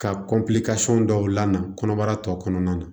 Ka kɔnpilɛsɔn dɔw lana kɔnɔbara tɔ kɔnɔna na